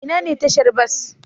Ina ne tashar bas?